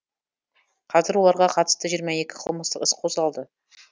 қазір оларға қатысты жиырма екі қылмыстық іс қозғалды